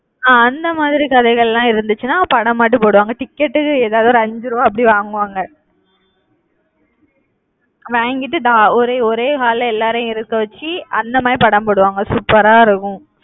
அஹ் அந்த மாதிரி கதைகள்லாம் இருந்துச்சுன்னா படம் மட்டும் போடுவாங்க. ticket க்கு எதாவது ஒரு அஞ்சு ரூபாய் அப்படி வாங்குவாங்க வாங்கிட்டு ஒரே ஒரே hall ல எல்லாரையும் இருக்க வச்சு அந்த மாதிரி படம் போடுவாங்க super ஆ இருக்கும்.